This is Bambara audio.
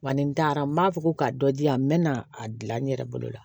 Wa ni n taara n b'a fɔ ko ka dɔ di yan n bɛ na a dilan n yɛrɛ bolo la